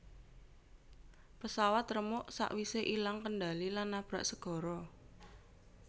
Pesawat remuk sak wise ilang kendali lan nabrak segara